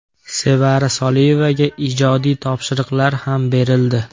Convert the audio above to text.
Sevara Soliyevaga ijodiy topshiriqlar ham berildi.